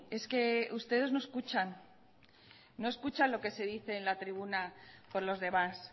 es que ustedes no escuchan no escuchan lo que se dice en la tribuna por los demás